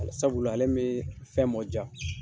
Ali sabula , ale bɛ fɛn mɔ ja.